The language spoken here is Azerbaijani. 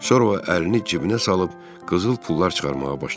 Sonra o əlini cibinə salıb qızıl pullar çıxarmağa başladı.